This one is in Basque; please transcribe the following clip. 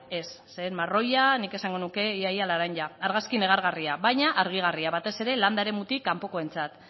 marroia zen nik esango nuke ia ia laranja argazki negargarria baina harrigarria batez ere landa eremutik kanpokoentzat